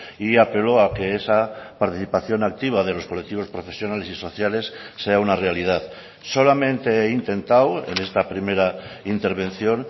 y apelo a que esa participación activa de los colectivos profesionales y sociales sea una realidad solamente he intentado en esta primera intervención